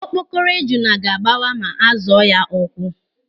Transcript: Okpokoro ejuna ga-agbawa ma a zọọ ya ụ́kwụ́.